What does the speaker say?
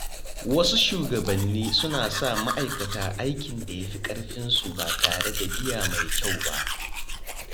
Wasu shugabannin suna sa ma'aikata aikin da ya fi ƙarfinsu ba tare da biya mai kyau ba.